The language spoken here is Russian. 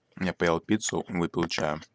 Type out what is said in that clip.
я поел пиццу выпил чаю